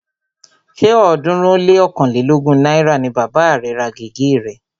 Ṣé ọ̀ọ́dúnrún ó lé ọ̀kánlelógún náírà ni bàba rẹ̀ ra gègé rẹ̀